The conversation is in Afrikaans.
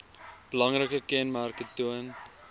belangrike kenmerke toon